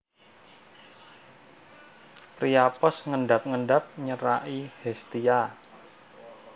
Priapos ngendap endap nyeraki Hestia